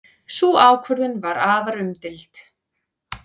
Sú ákvörðun var afar umdeild.